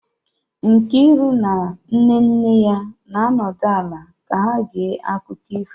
Nkiru na nne nne ya na-anọdụ ala ka ha gee akụkọ ifo